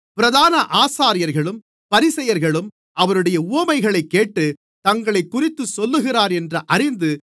பிரதான ஆசாரியர்களும் பரிசேயர்களும் அவருடைய உவமைகளைக் கேட்டு தங்களைக்குறித்துச் சொல்லுகிறார் என்று அறிந்து